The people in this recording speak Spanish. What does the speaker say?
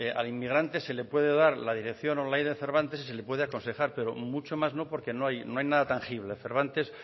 al inmigrante se le puede dar la dirección online de cervantes y se le puede aconsejar pero mucho más no porque no hay nada tangible cervantes